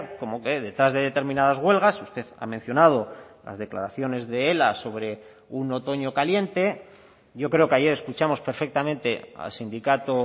como que detrás de determinadas huelgas usted ha mencionado las declaraciones de ela sobre un otoño caliente yo creo que ayer escuchamos perfectamente al sindicato